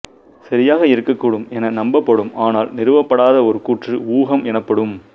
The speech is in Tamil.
சரியாக இருக்கக்கூடும் என நம்பப்படும் ஆனால் நிறுவப்படாத ஒரு கூற்று ஊகம் எனப்படும்